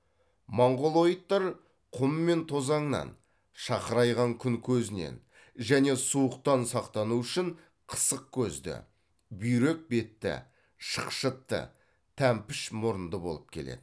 монғолоидтар құм мен тозаңнан шақырайған күн көзінен және суықтан сақтану үшін қысық көзді бүйрек бетті шықшытты тәмпіш мұрынды болып келеді